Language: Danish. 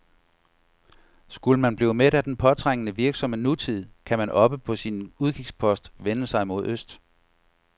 Skulle man blive mæt af den påtrængende, virksomme nutid, kan man oppe på sin udkigspost vende sig mod øst.